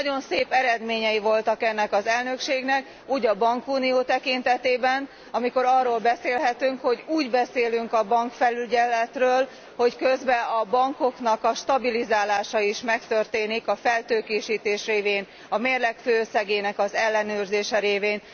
Nagyon szép eredményei voltak ennek az elnökségnek úgy a bankunió tekintetében, amikor arról beszélhetünk, hogy úgy beszélünk a bankfelügyeletről, hogy közben a bankoknak a stabilizálása is megtörténik a feltőkésítés révén, a mérleg főösszegének az ellenőrzése révén.